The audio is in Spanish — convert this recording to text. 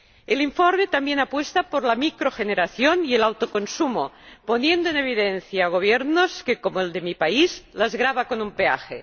El informe también apuesta por la microgeneración y el autoconsumo, poniendo en evidencia a gobiernos que, como el de mi país, los gravan con un peaje.